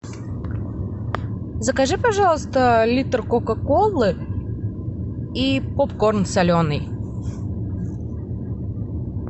закажи пожалуйста литр кока колы и попкорн соленый